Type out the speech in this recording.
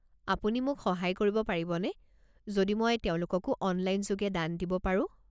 আপুনি মোক সহায় কৰিব পাৰিবনে যদি মই তেওঁলোককো অনলাইন যোগে দান দিব পাৰো?